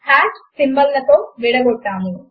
సమీకరణములను equal to character మీద align చేయండి